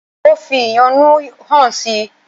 Ó fi ìyọ́nú hàn si.